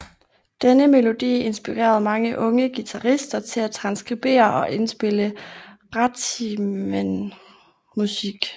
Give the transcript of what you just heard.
Denne melodi inspirerede mange unge guitarister til at transkribere og indspille ragtimemusik